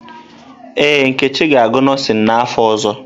Ee, Nkechi ga-agụ nọọsịn n’afọ ọzọ.